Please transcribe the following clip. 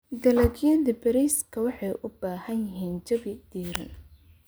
Dalagyada bariiska waxay u baahan yihiin jawi diiran.